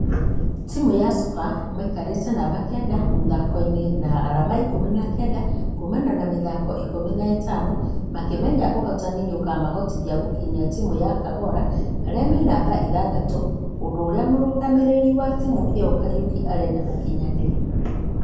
Timũ ya sofa maikaretĩ namba kenda mũthako-inĩ na arama ikũmi na kenda kuumana na mĩthako ikũmi na itano. Makĩmenya ũhotani nĩũkũmahotithia gũkinyĩra timũ ya k'ogalo arĩa me namba ithathatũ , ũndũ ũria mũrũgamĩrĩri wa timũ ino kariuki arenda ũkinyanĩre.